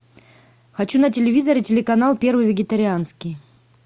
хочу на телевизоре телеканал первый вегетарианский